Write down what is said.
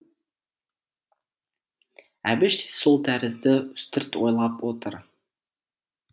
әбіш те сол тәрізді үстірт ойлап отыр